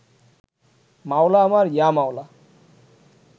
মাওলা আমার ইয়া মাওলা